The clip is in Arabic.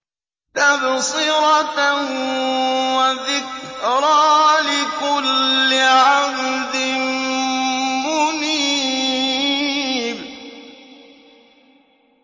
تَبْصِرَةً وَذِكْرَىٰ لِكُلِّ عَبْدٍ مُّنِيبٍ